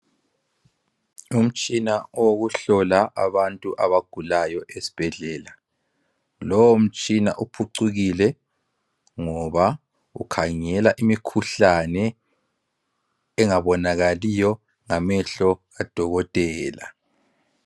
Umtshina owokuhlola abantu abagulayo esibhedlela. Lowomtshina uphucukile ngoba ukhangela imikhuhlane engabonakaliyo ngamehlo kadokotela.